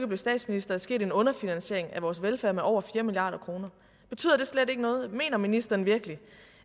blev statsminister er sket en underfinansiering af vores velfærd med over fire milliard kroner betyder det slet ikke noget mener ministeren virkelig